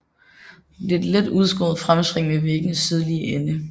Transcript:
Der er et let udskåret fremspring ved væggens sydlige ende